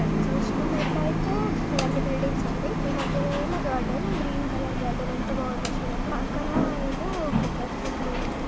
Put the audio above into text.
ఇది చూసుకున్నట్లయితే ఇవన్నీ బిల్డింగ్స్ అండి. ఈ మధ్యలో ఉన్నది మా గార్డెన్ గ్రీన్ కలర్ గార్డెన్ ఎంత బాగుందో చూడండి. పక్కన ఏమో కొబ్బరి చెట్లు ఉన్నాయి.